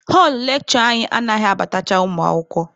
Họlụ lekshure anyị anaghị abatacha ụmụ akwụkwọ.